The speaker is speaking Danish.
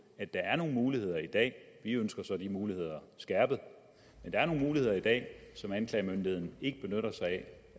at der er nogle muligheder i dag vi ønsker så de muligheder skærpet men der er nogle muligheder i dag som anklagemyndigheden ikke benytter sig